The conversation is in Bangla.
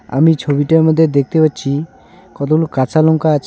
আমি ছবিটার মধ্যে দেখতে পাচ্ছি কতগুলো কাঁচা লঙ্কা আছে.